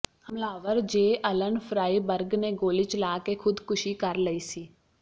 ਹਮਲਾਵਰ Jaylen Fryberg ਨੇ ਗੋਲੀ ਚਲਾ ਕੇ ਖੁਦਕੁਸ਼ੀ ਕਰ ਲਈ ਸੀ